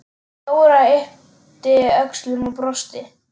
Dóra yppti öxlum og brosti.